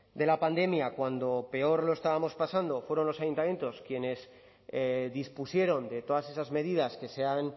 de la pandemia cuando peor lo estábamos pasando fueron los ayuntamientos quienes dispusieron de todas esas medidas que se han